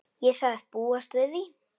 Ég sagðist búast við því.